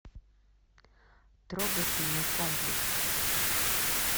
трогательный комплекс